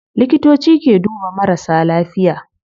Likitoci ke duba marasa lafiya